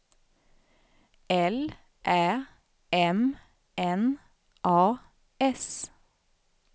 L Ä M N A S